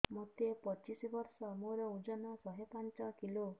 ମୋତେ ପଚିଶି ବର୍ଷ ମୋର ଓଜନ ଶହେ ପାଞ୍ଚ କିଲୋ